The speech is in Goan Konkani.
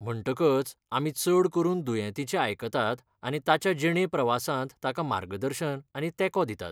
म्हणटकच आमी चड करून दुयेंतीचें आयकतात आनी ताच्या जिणे प्रवासांत ताका मार्गदर्शन आनी तेंको दितात.